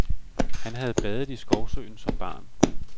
Han havde badet i skovsøen som barn.